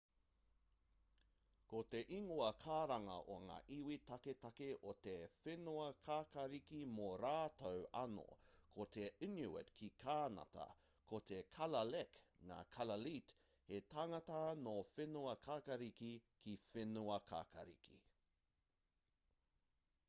ko te ingoa karanga o ngā iwi taketake o te whenuakākāriki mō rātou anō ko te inuit ki kānata ko te kalaalleq ngā kalaallit he tangata nō whenuakākāriki ki whenuakākāriki